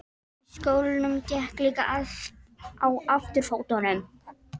Í skólanum gekk líka allt á afturfótunum.